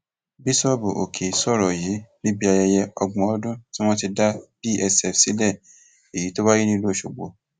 bíṣọọbù òkè sọrọ yìí níbi ayẹyẹ ọgbọn ọdún tí wọn ti dá psf sílẹ èyí tó wáyé nílùú ọsọgbò